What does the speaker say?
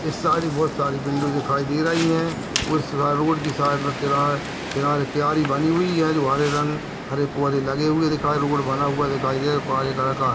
इस साइड बहुत सारी बिल्डिंग दिखाई दे रही है उसे रोड की साइड में किआरे किनारे बनी हुई है जो हरे रंग हरे पौधे लगे हुए दिखाई दे रोड बना हुआ दिखाई दे काले रंग का है।